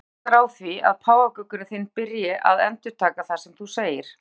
Það eykur líkurnar á því að páfagaukurinn þinn byrji að endurtaka það sem þú segir.